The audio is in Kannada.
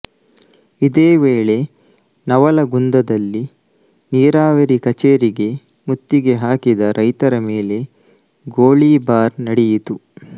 ಇದೇ ವೇಳೆ ನವಲಗುಂದದಲ್ಲಿ ನೀರಾವರಿ ಕಚೇರಿಗೆ ಮುತ್ತಿಗೆ ಹಾಕಿದ ರೈತರ ಮೇಲೆ ಗೋಳೀಬಾರ್ ನಡೆಯಿತು